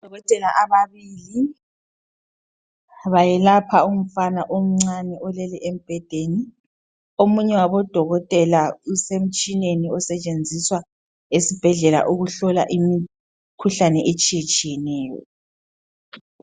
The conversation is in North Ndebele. Odokotela ababili bayelapha umfana omncane olele embhedeni. Omunye wabodokotela usemtshineni osetshenziswa esibhedlela ukuhlola imikhuhlane etshiyetshiyeneyo.